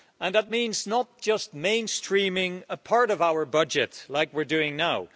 That means not just mainstreaming a part of our budget like we're doing now.